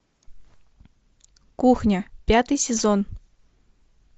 кухня пятый сезон